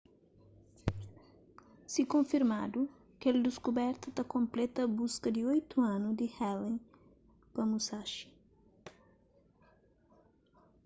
si konfirmadu kel diskuberta ta konpleta buska di oitu anu di allen pa musashi